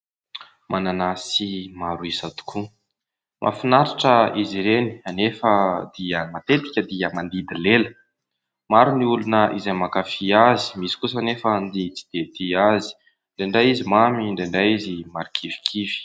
Mananasy maro isa tokoa, mahafinaritra izy ireny anefa dia matetika dia mandidy lela. Maro ny olona izay mankafia azy, misy kosa anefa ny tsy dia tia azy, indraindray izy mamy indraindray izy marikivikivy.